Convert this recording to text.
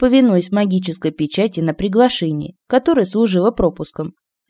повинуясь магической печати на приглашении которое служило пропуском